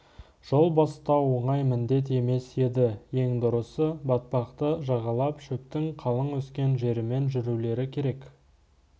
жол бастау оңай міндет емес еді ең дұрысы батпақты жағалап шөптің қалың өскен жерімен жүрулері керек